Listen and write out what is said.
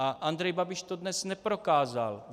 A Andrej Babiš to dnes neprokázal.